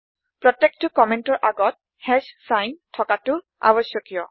প্ৰত্যেকটো কম্মেন্ট ৰ আগত চাইন থকাটো আৱশ্যকীয়